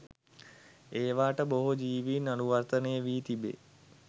ඒවාට බොහෝ ජීවීන් අනුවර්තනය වී තිබේ.